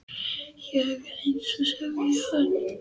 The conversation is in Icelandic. Ég er eins, sagði hann.